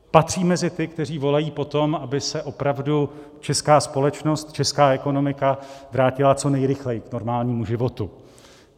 Patřím mezi ty, kteří volají po tom, aby se opravdu česká společnost, česká ekonomika vrátila co nejrychleji k normálnímu životu.